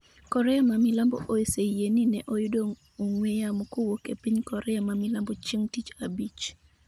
Korea ma milambo oseyie ni ne oyudo ong'we yamo kowuok e piny Korea ma milambo chieng' tich adek.